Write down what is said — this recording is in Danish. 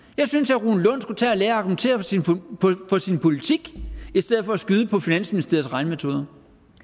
i skulle tage og lære at argumentere for sin politik i stedet for at skyde på finansministeriets regnemetoder